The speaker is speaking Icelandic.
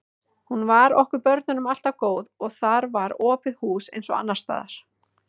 Hún var okkur börnunum alltaf góð og þar var opið hús eins og annars staðar.